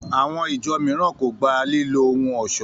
Àwọn ìjọ mìíràn kò gba lílo ohun ọ̀ṣọ́